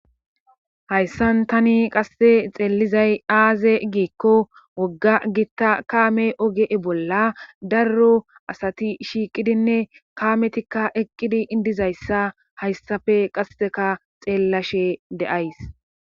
hayssan tani qasse xeellizay aaze giikko wogga gitta kaame ogee bolla daro asati shiiqidinne kaametikka eqqidi dizayssa hayssafe qasseka xeellashe de7ays